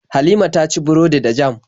Halima ta ci burodi da jam.